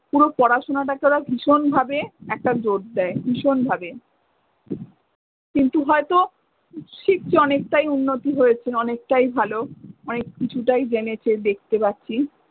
পুরো পড়াশোনাটা কে ওরা ভীষণ ভাবে একটা জোর দেয় ভীষণ ভাবে। কিন্তু হয়তো শিখছে অনেকটাই উন্নতি হয়েছে, অনেকটাই ভালো অনেক কিছুটাই জেনেছে, দেখতে পাচ্ছি।